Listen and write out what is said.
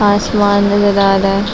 आसमान नजर आ रहा हैं।